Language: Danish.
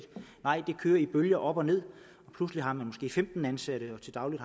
nej det kører i bølger op og ned pludselig har man femten ansatte men til daglig